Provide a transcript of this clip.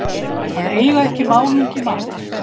Að eiga ekki málungi matar